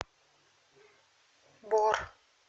бор